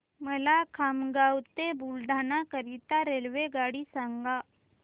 मला खामगाव ते बुलढाणा करीता रेल्वेगाडी सांगा